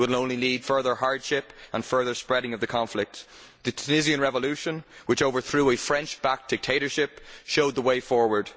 It will only lead to further hardship and further spreading of the conflict. The Tunisian revolution, which overthrew a French backed dictatorship showed the way forward.